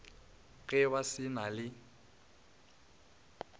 ge ba se na le